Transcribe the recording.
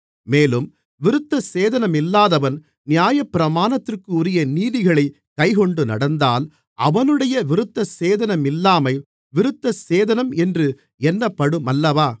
மேலும் விருத்தசேதனமில்லாதவன் நியாயப்பிரமாணத்திற்குரிய நீதிகளைக் கைக்கொண்டு நடந்தால் அவனுடைய விருத்தசேதனமில்லாமை விருத்தசேதனம் என்று எண்ணப்படுமல்லவா